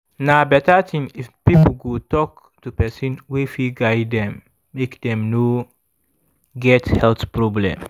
na better thing if people go talk to person wey fit guide dem make dem no get health problem